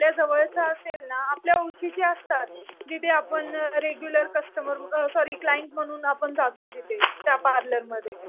आपल्या जवळचं असेल ना, आपल्या ओळखीचे असतात. जिथे आपण रेगुलर कस्टमर सॉरी क्लाइंट म्हणून आपण जातो जिथे त्या पार्लरमध्ये.